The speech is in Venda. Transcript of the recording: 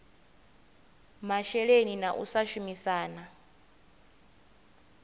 masheleni na u sa shumisana